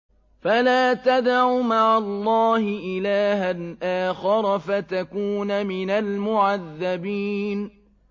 فَلَا تَدْعُ مَعَ اللَّهِ إِلَٰهًا آخَرَ فَتَكُونَ مِنَ الْمُعَذَّبِينَ